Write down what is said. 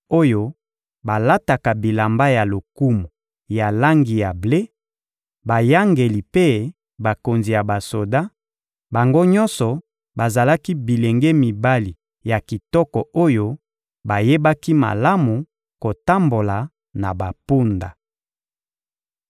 oyo balataka bilamba ya lokumu ya langi ya ble, bayangeli mpe bakonzi ya basoda; bango nyonso bazalaki bilenge mibali ya kitoko oyo bayebaki malamu kotambola na bampunda.